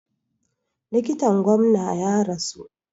Likitan gwamna ya rasu.